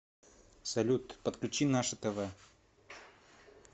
салют подключи наше тв